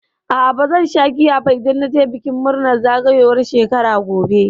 A'a bazan sha giya ba idan na je bikin murnar zagayowar shekara gobe.